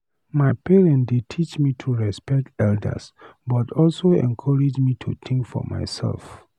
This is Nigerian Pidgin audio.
My parent dey teach me to respect elders, but also encourage me to think for myself.